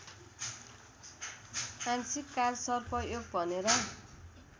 आंशिक कालसर्पयोग भनेर